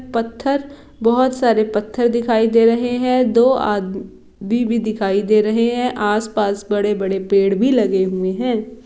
पत्थर बहोत सारे पत्थर दिखाई दे रहे है दो आद्म मी भी दिखाई रहे है आस -पास बड़े-बड़े पेड़ भी लगे हुए है।